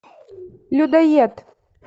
людоед